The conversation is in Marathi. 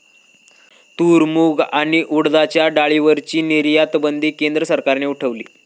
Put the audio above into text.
तूर, मूग आणि उडदाच्या डाळीवरची निर्यातबंदी केंद्र सरकारने उठवली